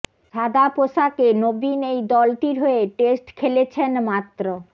সাদা পোশাকে নবীন এই দলটির হয়ে টেস্ট খেলেছেন মাত্র